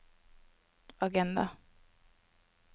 agenda